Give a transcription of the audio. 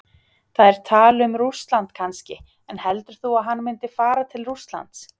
Það er tal um Rússland kannski, en heldur þú að hann myndi fara til Rússlands?